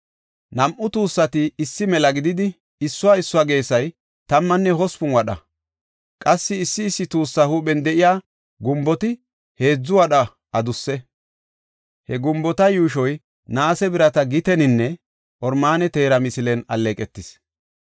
Nam7u tuussati issi mela gididi, issuwa issuwa geesay tammanne hospun wadha; qassi issi issi tuussa huuphen de7iya gumboti heedzu wadha adusse. He gumbota yuushoy naase birata giteninne oromaane teera misilen alleeqetis.